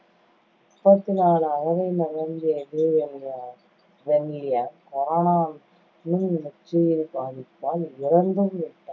முப்பத்து நாலு அகவை நிரம்பிய, இலீ வென்லியாங்கு corona நுண்நச்சுயிரி பாதிப்பால் இறந்துவிட்டார்